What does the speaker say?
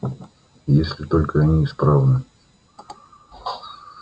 если только они исправны